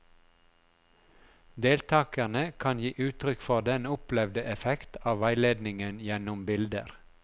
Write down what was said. Deltakerne kan gi uttrykk for den opplevde effekt av veiledningen gjennom bilder.